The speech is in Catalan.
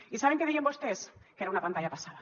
i saben què deien vostès que era una pantalla passada